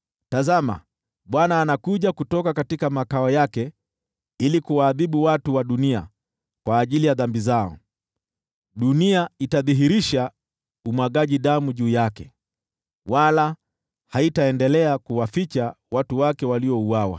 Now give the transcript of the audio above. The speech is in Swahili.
Tazama, Bwana anakuja kutoka makao yake ili kuwaadhibu watu wa dunia kwa ajili ya dhambi zao. Dunia itadhihirisha umwagaji damu juu yake, wala haitaendelea kuwaficha watu wake waliouawa.